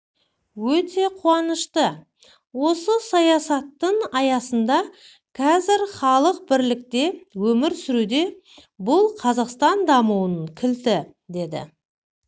өте қуанышты осы саясаттың аясында қазір халық бірлікте өмір сүруде бұл қазақстан дамуының кілті деді